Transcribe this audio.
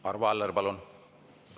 Arvo Aller, palun!